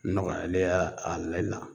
Nɔgɔyalen ye y'a a le la